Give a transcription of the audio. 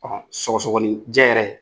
sɔgɔsɔgɔni jɛ yɛrɛ.